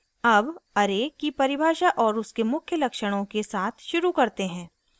अब array की परिभाषा और उसके मुख्य लक्षणों के साथ शुरू करते हैं